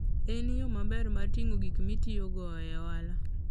En yo maber mar ting'o gik mitiyogo e ohala.